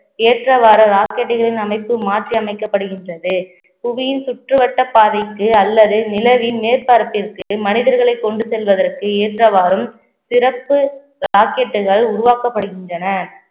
ஏற்றவாறு rocket டுகளின் அமைப்பு மாற்றி அமைக்கப்படுகின்றது புவியின் சுற்றுவட்ட பாதைக்கு அல்லது நிலவின் மேற்பரப்பிற்கு மனிதர்களை கொண்டு செல்வதற்கு ஏற்றவாறும் சிறப்பு rocket டுகள் உருவாக்கப்படுகின்றன